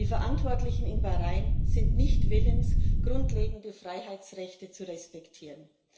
Die Verantwortlichen in Bahrain sind nicht willens, grundlegende Freiheitsrechte zu respektieren.